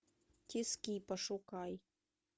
тиски пошукай